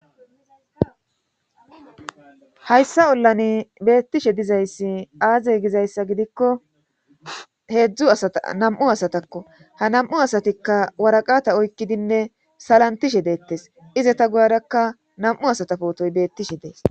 Hayssa ollani beettishe dizayssi aazey gizayssa gidikko heedzdzu namu asatakko ha nam7u asatikka waraqata oykkidinne salantishe deettes iza ta guadakka nam7u asata pootoy beettishe dees